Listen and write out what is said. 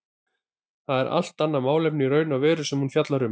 Það er allt annað málefni í raun og veru sem hún fjallar um.